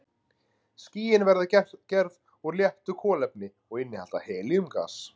Skýin verða gerð úr léttu kolefni og innihalda helíum-gas.